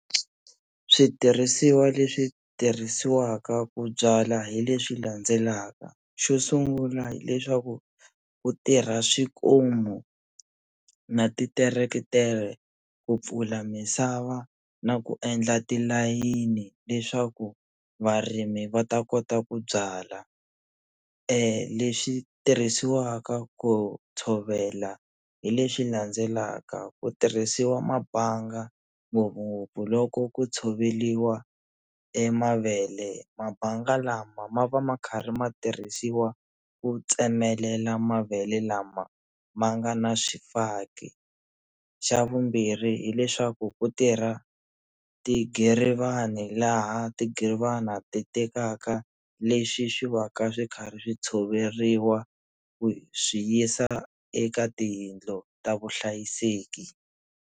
Switirhisiwa leswi tirhisiwaka ku byala hi leswi landzelaka xo sungula hileswaku ku tirha swikomu na titeretere ku pfula misava na ku endla tilayini leswaku varimi va ta kota ku byala leswi tirhisiwaka ku tshovela hi leswi landzelaka, ku tirhisiwa mabanga ngopfungopfu loko ku tshoveliwa e mavele, mabanga lama ma va ma karhi ma tirhisiwa ku tsemelela mavele lama ma nga na swifaki, xa vumbirhi hileswaku ku tirha tigirivani laha tigirivani ti tekaka leswi swi va ka swi karhi swi tshoveriwa ku swi yisa eka tiyindlo ta vuhlayiseki.